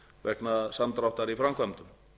vegna samdráttar í framkvæmdum